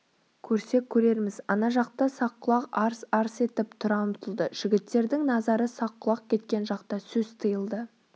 көрсек көрерміз ана жақта саққұлақ арс-арс етіп тұра ұмтылды жігіттердің назары саққұлақ кеткен жақта сөз тиылды